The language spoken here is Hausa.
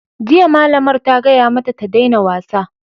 Jiya, malamar ta gaya mata ta daina wasa!